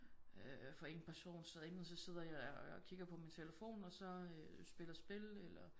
Øh for en person så enten så sidder jeg og kigger på min telefon og så spiller spil eller